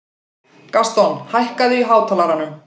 Gaston, hækkaðu í hátalaranum.